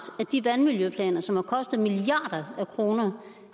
at de vandmiljøplaner som har kostet milliarder af kroner